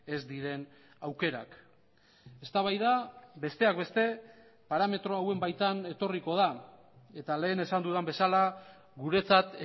ez diren aukerak eztabaida besteak beste parametro hauen baitan etorriko da eta lehen esan dudan bezala guretzat